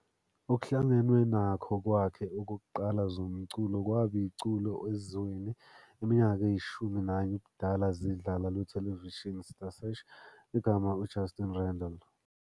Okuhlangenwe nakho kwakhe okokuqala zomculo kwaba iculo ezweni iminyaka eyishumi nanye ubudala zidlala lwethelevishini Star Search, igama uJustin Randall.